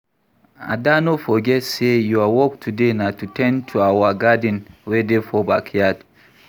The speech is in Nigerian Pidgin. Ada no forget say your work today na to ten d to our garden wey dey for backyard